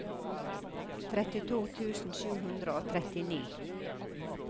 trettito tusen sju hundre og trettini